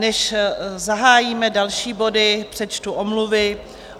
Než zahájíme další body, přečtu omluvy.